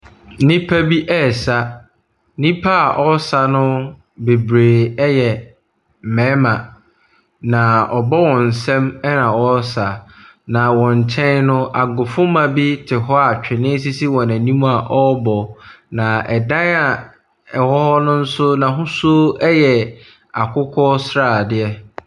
Nnipa bi ɛɛsa. Nnipa wɔɔsa no bebree ɛyɛ mmarima na ɔbɔ wɔn sam ɛna wɔresa. Na wɔn kyɛn no, agofomma bi te hɔ a twene sisi wɔn anim a ɔrebɔ, na ɛdan ɛwɔ hɔ nonso n'ahosuo ɛyɛ akokɔ sradeɛ.